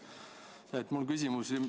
Mul on selline küsimus.